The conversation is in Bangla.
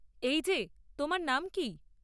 -এই যে, তোমার নাম কী?